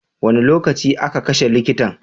Wane lokaci a ka kashe likitan?